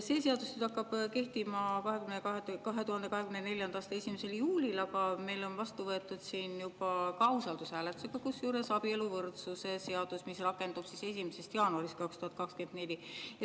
See seadus hakkab kehtima 2024. aasta 1. juulil, aga meil on siin juba vastu võetud – kusjuures samuti usaldushääletusega – abieluvõrdsuse seadus, mis rakendub 1. jaanuarist 2024.